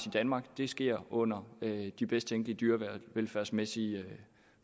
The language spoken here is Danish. i danmark sker det under de bedst tænkelige dyrevelfærdsmæssige